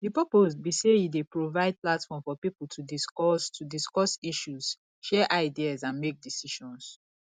di purpose be say e dey provide platform for people to discuss to discuss issues share ideas and make decisions